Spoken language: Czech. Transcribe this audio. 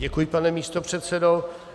Děkuji, pane místopředsedo.